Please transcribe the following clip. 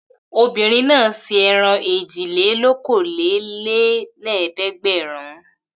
Obìnrin náà se ẹran èjìlélókòólélẹ́ẹ̀dẹ́gbẹ̀rún.